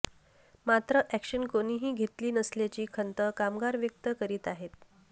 मात्र ऍक्शन कोणीही घेतली नसल्याची खंत कामगार व्यक्त करीत आहेत